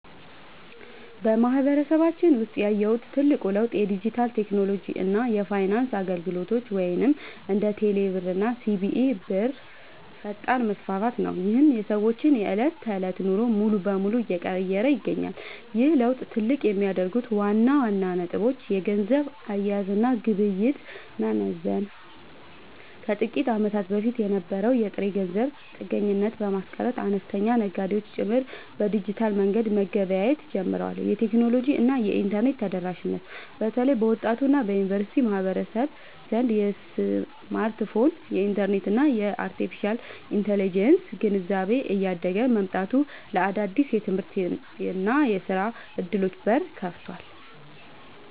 በማህበረሰባችን ውስጥ ያየሁት ትልቁ ለውጥ የዲጂታል ቴክኖሎጂ እና የፋይናንስ አገልግሎቶች (እንደ ቴሌብር እና ሲቢኢ ብር) ፈጣን መስፋፋት ነው፤ ይህም የሰዎችን የዕለት ተዕለት ኑሮ ሙሉ በሙሉ እየቀየረ ይገኛል። ይህን ለውጥ ትልቅ የሚያደርጉት ዋና ዋና ነጥቦች - የገንዘብ አያያዝ እና ግብይት መዘመን፦ ከጥቂት ዓመታት በፊት የነበረውን የጥሬ ገንዘብ ጥገኝነት በማስቀረት፣ አነስተኛ ነጋዴዎች ጭምር በዲጂታል መንገድ መገበያየት ጀምረዋል። የቴክኖሎጂ እና የኢንተርኔት ተደራሽነት፦ በተለይ በወጣቱ እና በዩኒቨርሲቲ ማህበረሰብ ዘንድ የስማርትፎን፣ የኢንተርኔት እና የአርቴፊሻል ኢንተለጀንስ (AI) ግንዛቤ እያደገ መምጣቱ ለአዳዲስ የትምህርትና የሥራ ዕድሎች በር ከፍቷል።